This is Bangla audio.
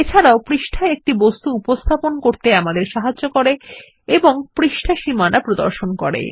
এছাড়াও এটা আমাদের পৃষ্ঠায় একটি বস্তুর উপস্থাপন করতে সক্ষম করে এবং পৃষ্ঠা সীমানা প্রদর্শন করে